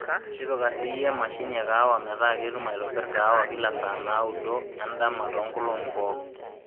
tipika siiiyie emashini ee kahawa metaa ketum aitobirr kahawa kila saa naaudo endama too inkolong'i pooki